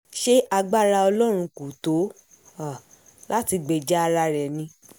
ṣe agbára ọlọ́run kò tó um láti gbèjà ara rẹ ni